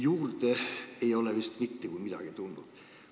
Juurde ei ole vist mitte kui midagi tulnud.